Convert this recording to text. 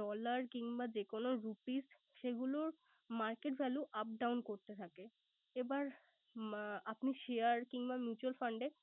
dollar কিংবা যে কোন rupees সেগুলোর market value up down করতে থাকে। এবার আপনি share কিংবা mutual fund এ